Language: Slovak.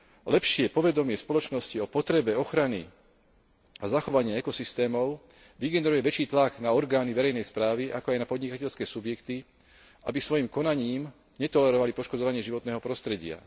Lepšie povedomie spoločnosti o potrebe ochrany a zachovania ekosystémov vygeneruje väčší tlak na orgány verejnej správy, ako aj na podnikateľské subjekty, aby svojim konaním netolerovali poškodzovanie životného prostredia.